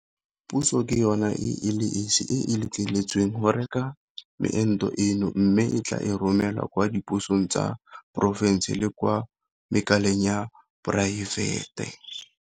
Puso ke yona e le esi e e letleletsweng go reka meento eno mme e tla e romela kwa dipusong tsa diporofense le kwa makaleng a poraefete.